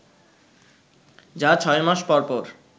যা ছয় মাস পরপর